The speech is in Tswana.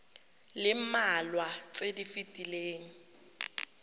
le mmalwa tse di fetileng